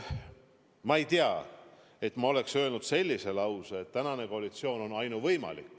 Ma ei tea, et ma oleksin öelnud sellise lause, et tänane koalitsioon on ainuvõimalik.